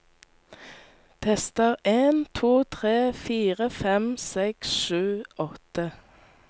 Tester en to tre fire fem seks sju åtte